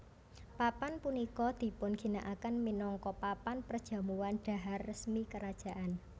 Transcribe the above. Papan punika dipun ginakaken minangka papan perjamuan dhahar resmi kerajaan